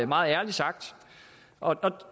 meget ærligt sagt og